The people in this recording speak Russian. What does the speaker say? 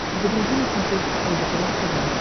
загрузи на смотрешке лдпр тв